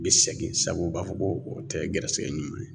Bɛ segin sabu u b'a fɔ ko o tɛ gɛrɛsɛgɛ ɲuman ye